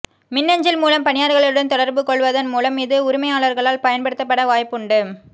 மின்னஞ்சல் மூலம் பணியாளர்களுடன் தொடர்புகொள்வதன் மூலம் இது உரிமையாளர்களால் பயன்படுத்தப்பட வாய்ப்புண்டு